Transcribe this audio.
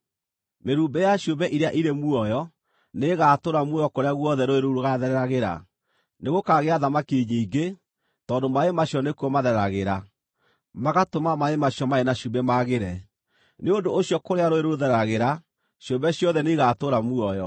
Mĩrumbĩ ya ciũmbe iria irĩ muoyo nĩĩgatũũra muoyo kũrĩa guothe rũũĩ rũu rũgaathereragĩra. Nĩgũkaagĩa thamaki nyingĩ, tondũ maaĩ macio nĩkuo mathereragĩra, magatũma maaĩ macio marĩ na cumbĩ magĩre; nĩ ũndũ ũcio kũrĩa rũũĩ rũu rũthereragĩra, ciũmbe ciothe nĩigatũũra muoyo.